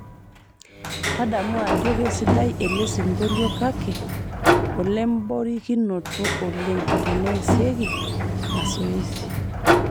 tadamu ajo keisidai elesingolio kake olemborikinoto oleng teneesieki masoesi